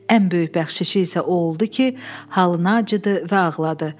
Ən böyük bəxşişi isə o oldu ki, halına acıdı və ağladı.